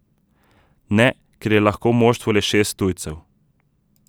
Ne, ker je lahko v moštvu le šest tujcev.